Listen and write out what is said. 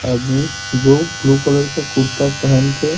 आदमी जो blue colour का कुरता पेहन के--